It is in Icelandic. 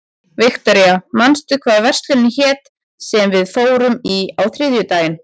Viktoria, manstu hvað verslunin hét sem við fórum í á þriðjudaginn?